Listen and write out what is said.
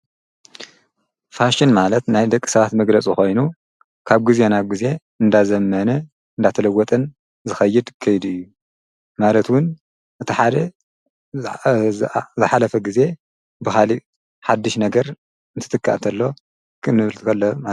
ፋሽን ማለት ናይ ደቂ ሰባት መግረጹ ኾይኑ ካብ ጊዜ ና ጊዜ እንዳዘመነ እንዳተለወትን ዝኸይድ ከይድ እዩ ማለትውን እቲ ሓደ እዝኃለፈ ጊዜ ብኻሊ ሓድሽ ነገር እንትትካእ እንተሎ ክንብልት ኣለ።